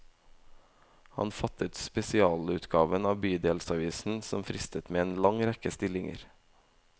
Han forfattet spesialutgaven av bydelsavisen, som fristet med en lang rekke stillinger.